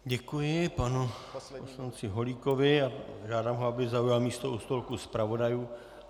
Děkuji panu poslanci Holíkovi a žádám ho, aby zaujal místo u stolku zpravodajů.